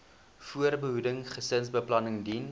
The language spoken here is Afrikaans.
voorbehoeding gesinsbeplanning diens